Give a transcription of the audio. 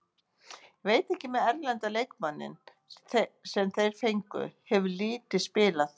Veit ekki með erlenda leikmanninn sem þeir fengu, hefur lítið spilað.